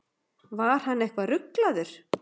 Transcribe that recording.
Var hann eitthvað ruglaður?